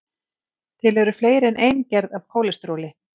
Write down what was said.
Til eru fleiri en ein gerð af kólesteróli.